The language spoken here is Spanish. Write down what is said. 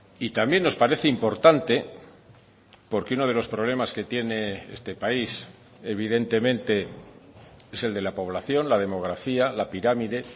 y también nos parece importante porque uno de los problemas que tiene este país evidentemente es el de la población la demografía la pirámide